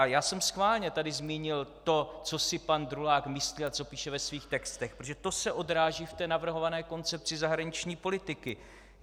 A já jsem schválně tady zmínil to, co si pan Drulák myslí a co píše ve svých textech, protože to se odráží v té navrhované Koncepci zahraniční politiky.